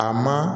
A ma